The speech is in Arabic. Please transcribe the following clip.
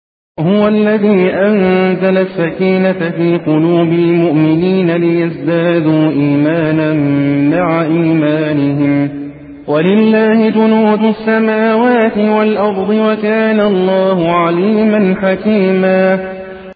هُوَ الَّذِي أَنزَلَ السَّكِينَةَ فِي قُلُوبِ الْمُؤْمِنِينَ لِيَزْدَادُوا إِيمَانًا مَّعَ إِيمَانِهِمْ ۗ وَلِلَّهِ جُنُودُ السَّمَاوَاتِ وَالْأَرْضِ ۚ وَكَانَ اللَّهُ عَلِيمًا حَكِيمًا